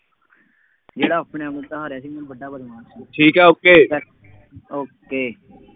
ਜਿਹੜਾ ਆਪਣੇ ਆਪ ਨੂੰ ਕਹਾ ਰਿਹਾ ਸੀ ਬਈ ਮੈਂ ਵੱਡਾ ਬਦਮਾਸ਼ ਹਾਂ। ਠੀਕ ਆ okay okay